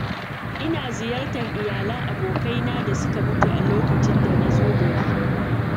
Ina ziyartar iyalan abokaina da suka mutu a duk lokacin da na zo gari.